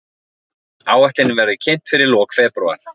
Áætlunin verður kynnt fyrir lok febrúar